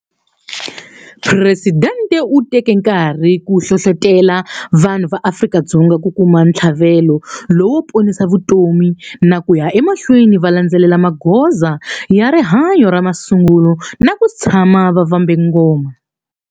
Presidente u teke nkarhi ku hlohlotela vanhu va Afrika-Dzonga ku kuma ntlhavelo lowo ponisa vutomi na ku ya emahlweni va landzelela magoza ya rihanyo ya masungulo na ku tshama va vambe ngoma.